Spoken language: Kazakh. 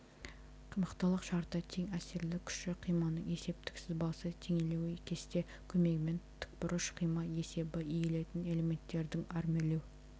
мықтылық шарты тең әсерлі күші қиманың есептік сызбасы теңелуі кесте көмегімен тібұрыш қима есебі иілетін элементтердің армирлеу